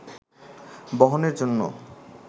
বহনের জন্য